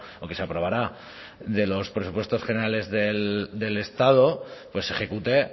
o que se aprobará de los presupuestos generales del estado pues se ejecute